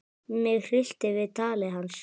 Mig hryllti við tali hans.